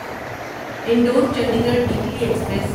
Indore Chandigarh weekly express